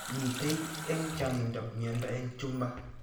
Mitei eng chang'indo miondo eng chumba